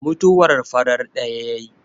mutuwar farat daya ta yi!